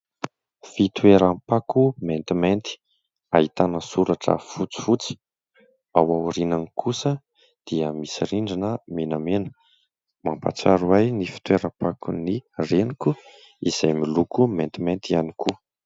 Fitoeram-pako maintimainty ahitana soratra fotsifotsy, ao aorinany kosa dia misy rindrina menamena. Mampahatsiaro ahy ny fitoeram-pakon' ny reniko izay miloko maintimainty ihany koa.